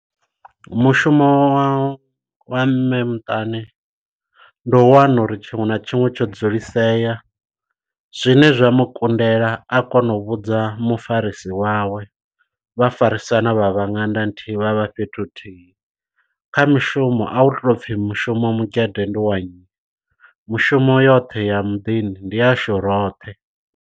Mushumo wa wa mme muṱani ndo wana uri tshiṅwe na tshiṅwe tsho dzulisea zwine zwa mu kundela a kona u vhudza mufarisi wawe vha farisana vha vha ṅanda nthihi vha vha fhethu huthihi kha mishumo a hu tou pfhi mushumo mugede ndi wa nnyi mushumo yoṱhe ya muḓini ndi yashu roṱhe.